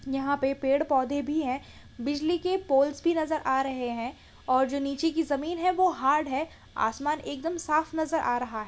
यहाँ पे पेड़ पौधे भी है बिजली के पोल्स भी नजर आ रहे है और जो नीचे की जमीन हैं वो हार्ड है आसमान एकदम साफ़ नजर आ रहा हैं ।